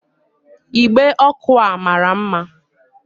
Igbe ọkụ a mara mma